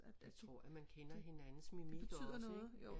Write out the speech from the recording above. Det tror jeg man kender hinandens mimik også ik